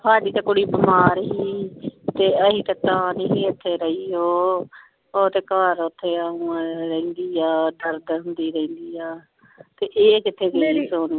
ਹਾੜੀ ਤੇ ਕੁੜੀ ਬਿਮਾਰ ਹੀ, ਏ ਅਸੀ ਤੇ ਤਾਂ ਨਿ ਸੀ ਹਟੇ ਰਹੀ ਓ ਊ ਤੇ ਘਰ ਓਥੇ ਆ ਹੁਣ ਰਹਿੰਦੀ ਆ ਦਰਦ ਹੁੰਦੀ ਰਹਿੰਦੀ ਆ ਤੇ ਇਹ ਕਿਥੇ ਗਈ ਹੁਣ